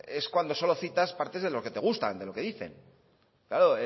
es cuando solo citas partes de lo que te gusta de lo que dicen claro